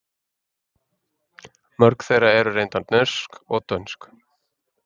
Mörg þeirra eru reyndar norsk og dönsk.